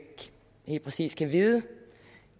helt præcis kan vide